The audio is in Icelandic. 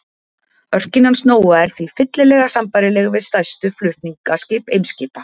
Örkin hans Nóa er því fyllilega sambærileg við stærstu flutningaskip Eimskipa.